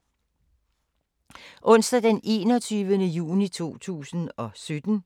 Onsdag d. 21. juni 2017